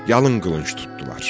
Yalın qılınc tutdular.